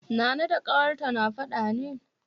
Nana da ƙawarta na faɗa ne?